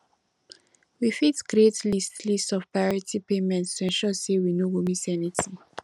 we fit create list list of priority payments to ensure sey we no go miss anything